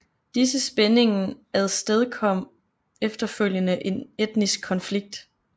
Disse spændingen afstedkom efterfølgende en etnisk konflikt